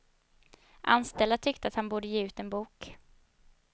Anställda tyckte att han borde ge ut en bok.